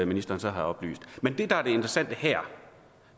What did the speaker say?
ministeren så har oplyst men det der er det interessante her